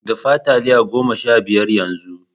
Dafa taliya goma sha biyar yanzu!